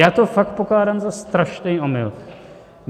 Já to fakt pokládám za strašný omyl.